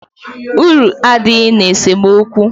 Uru adịghị n'esemookwu